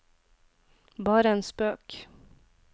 bare en spøk